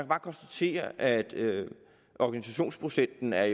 bare konstatere at organisationsprocenten er